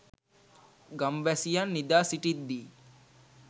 ගම්වැසියන් නිදා සිටිද්දී